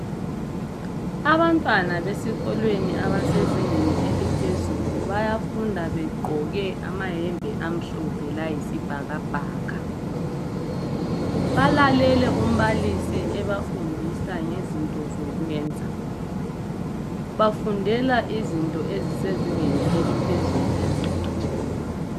Abantwana besikolweni abasezingeni eliphezulu bayafunda begqoke amayembe amhlophe layisibhakabhaka. Balalele umbalisi ebefundisa ngezinto zokwenza, bafundela izinto ezisezingeni eliphezulu eziqeqetshileyo.